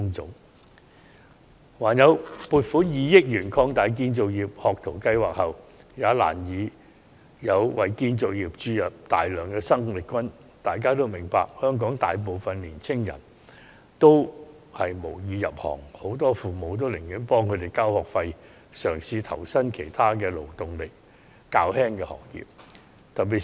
政府撥款2億元擴大了建造業學徒計劃後，也難以為建造業注入大量生力軍，因為香港大部分青年人無意入行，而很多父母寧願為子女交學費讓他們入讀專上院校，以期他們可投身於勞動力較低的行業。